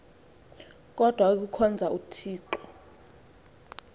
kodwa ikuhkhonza uthixo